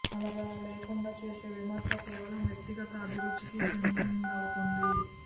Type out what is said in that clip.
అలా లేకుండా చేసే విమర్శ కేవలం వ్యక్తిగత అభిరుచికి చెందిందవుతుంది